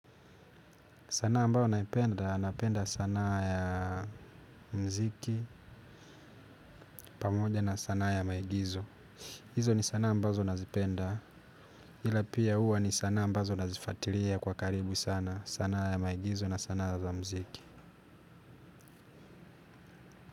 Sanaa ambayo naipenda, napenda sanaa ya mziki pamoja na sanaa ya maigizo. Izo ni sana ambazo nazipenda, ila pia huwa ni sana ambazo nazifatiria kwa karibu sana sanaa ya maigizo na sanaa za mziki.